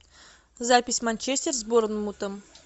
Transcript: запись манчестер с борнмутом